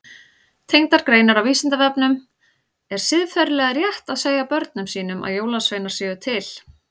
Tengdar greinar á Vísindavefnum Er siðferðilega rétt að segja börnum sínum að jólasveinar séu til?